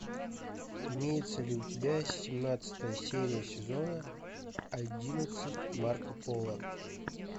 имеется ли у тебя семнадцатая серия сезона одиннадцать марко поло